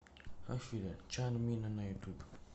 афина чанмина на ютуб